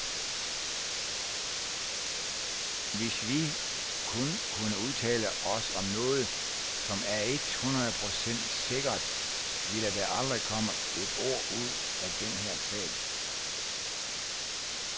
Hvis vi kun kunne udtale os om noget, som er et hundrede procent sikkert, ville der aldrig komme et ord ud af den her sag.